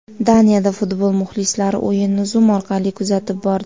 Daniyada futbol muxlislari o‘yinni Zoom orqali kuzatib bordi .